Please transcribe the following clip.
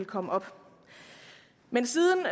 komme op men siden